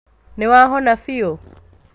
Nĩwahona biũ